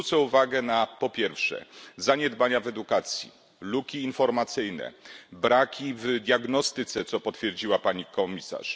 Zwrócę uwagę na zaniedbania w edukacji, luki informacyjne, braki w diagnostyce, co potwierdziła pani komisarz.